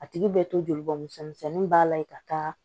A tigi bɛ to jolibɔn misɛn misɛnnin ba la yen ka taa